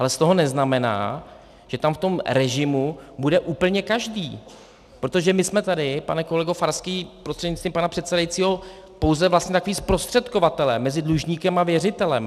Ale z toho neznamená, že tam v tom režimu bude úplně každý, protože my jsme tady, pane kolego Farský prostřednictvím pana předsedajícího, pouze vlastně takoví zprostředkovatelé mezi dlužníkem a věřitelem.